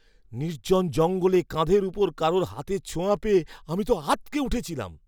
নির্জন জঙ্গলে কাঁধের ওপর কারুর হাতের ছোঁয়া পেয়ে আমি তো আঁতকে উঠেছিলাম!